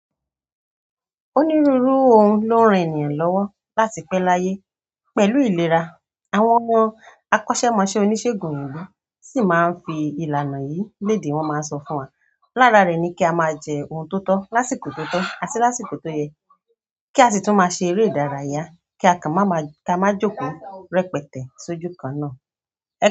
Onírúurú nǹkan ló ń ran ènìyàn lọ́wọ́ láti pẹ́ láyé pẹ̀lú ìlera. Àwọn akọ́ṣẹ́mọṣẹ́ oníṣègùn òyìnbó sì máa ń fi ìlànà yìí léde, wọ́n máa ń sọ fún wa. Lára rẹ̀ ni kí a máa jẹ ohun tó tọ́ lásìkò tó tọ́ àti lásìkò tó yẹ, kí a sì tún máa ṣe eré ìdárayá kí a kan má maa jókòó rẹpẹtẹ sójú kan náà.